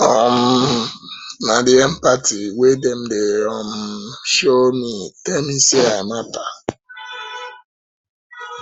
um na di empathy wey dem dey um show um me tell me sey i mata